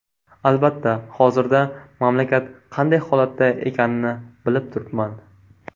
Albatta, hozirda mamlakat qanday holatda ekanini bilib turibman.